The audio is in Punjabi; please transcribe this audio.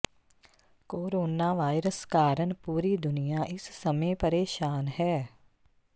ਕੋਰੋਨਾ ਵਾਇਰਸ ਕਾਰਨ ਪੂਰੀ ਦੁਨੀਆ ਇਸ ਸਮੇਂ ਪਰੇਸ਼ਾਨ ਹੈ